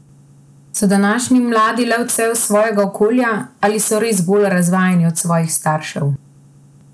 So današnji mladi le odsev svojega okolja ali so res bolj razvajeni od svojih staršev?